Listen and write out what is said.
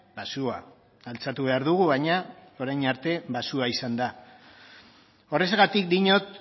baxua altxatu behar dugu baina orain arte baxua izan da horrexegatik diot